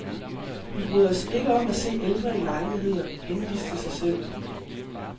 Vi bryder os ikke om at se ældre i lejligheder, henvist til sig selv.